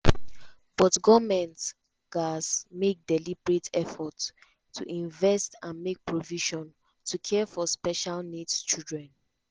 but goment gatz to make deliberate effort to invest and make provision to care for special needs children.